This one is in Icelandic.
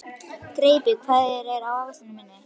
Greipur, hvað er á áætluninni minni í dag?